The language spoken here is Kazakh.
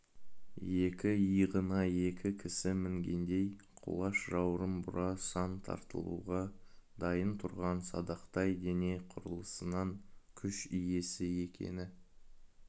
екі иығына екі кісі мінгендей құлаш жауырын бура сан тартылуға дайын тұрған садақтай дене құрылысынан күш иесі екені